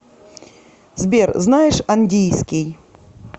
сбер знаешь андийский